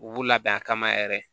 U b'u labɛn a kama yɛrɛ